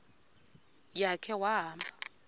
ya khe wahamba